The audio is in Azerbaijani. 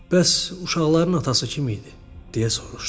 Bəs uşaqların atası kim idi, deyə soruşdum.